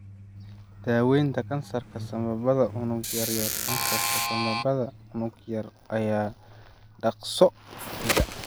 Daawaynta Kansarka Sambabada Unug Yaryar Kansarka sambabada unug yar ayaa dhakhso u fida.